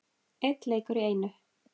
Einn leikur í einu.